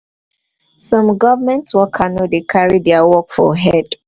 some government worker no dey carry their work for head